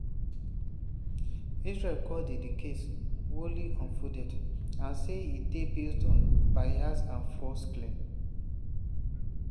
israel call di di case "wholly unfounded" and say e dey base on "biased and false claims".